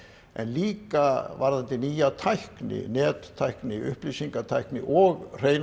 en líka varðandi nýja tækni nettækni upplýsingatækni og hreina